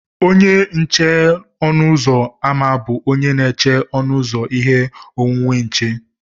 Onye nche ọnụ ụzọ ámá bụ onye na-eche ọnụ ụzọ ihe onwunwe nche